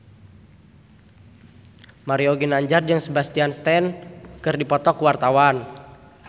Mario Ginanjar jeung Sebastian Stan keur dipoto ku wartawan